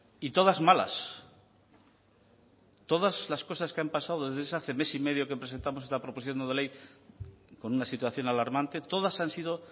y todas malas todas las cosas que han pasado desde ese hace mes y medio que presentamos esta proposición no de ley con una situación alarmante todas han sido